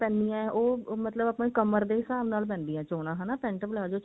ਪੈਂਦੀਆਂ ਉਹ ਮਤਲਬ ਆਪਾਂ ਨੂੰ ਕਮਰ ਦੇ ਹਿਸਾਬ ਨਾਲ ਪੈਂਦੀ ਹੈ ਚੋਣਾ ਹਨਾ pent palazzo ਚ